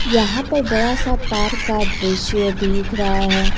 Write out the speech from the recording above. यहां पर बड़ा सा पार्क का दृश्य दिख रहा है।